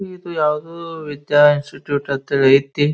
ಇದು ಯಾವುದೊ ವಿದ್ಯಾ ಇನ್ಸ್ಟಿಟ್ಯೂಟ್ ಅಂತೇಳಿ ಎತ್ತಿ.